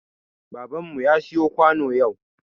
Baban mu ya siya kwano yau.